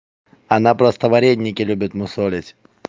она просто вареники любит мусолить